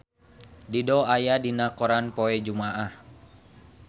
Dido aya dina koran poe Jumaah